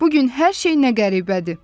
Bu gün hər şey nə qəribədir!